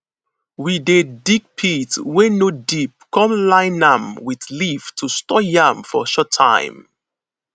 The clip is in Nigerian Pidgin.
we dey dig pit wey no deep come line nam with leaf to store yam for short time